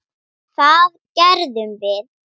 Eiður var ráðinn síðasta haust.